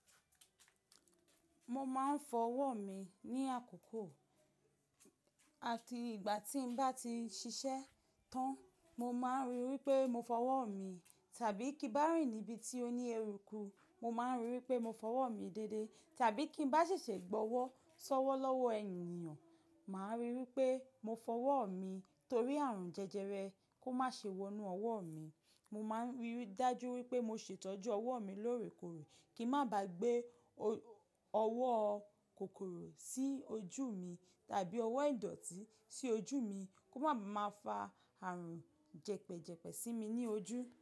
Mo máa ń fọwọ́ mi ní àkókò àti ìgbà tí n bá ti ṣiṣẹ́ tán. Mo máa ń ríi wípé mo fọwọ́ mi tàbí kí n bá rìn níbi tí ó ní eruku mo máa ń ríi wípé mo fọwọ́ mi déedé. Tàbí kí n bá ṣẹ̀ṣẹ̀ gbọwọ́ ṣọ́wọ́ lọ́wọ́ ènìyàn, màá ríi wípé mo fọwọ́ mi torí àrùn jẹjẹrẹ kó má ṣe wọnú ọwọ́ mi. Mo máa ń rí ri dájú wípé mo ṣètọ́jú ọwọ́ mi lóòrèkòòrè kí n má ba gbé ọ-ọwọ́ kòkòrò sí ojú mi tàbí ọwọ́ ìdọ̀tí sí ojú mi kó máa ma fa àrùn jẹpẹ́jẹpẹ́ sí mi ní ojú.